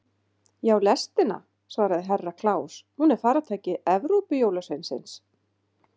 Já, lestina, svaraði Herra Kláus, hún er faratæki Evrópujólasveinsins.